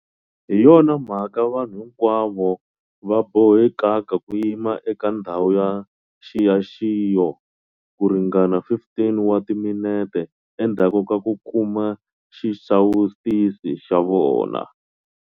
Hi yona mhaka vanhu hinkwavo va bohekaka ku yima eka ndhawu ya nxiyaxiyo ku ringana 15 wa timinete endzhaku ka ku kuma xisawutisi xa vona.